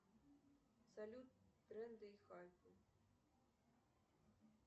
салют тренды и хайпы